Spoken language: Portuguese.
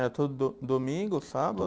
É, todo do domingo, sábado?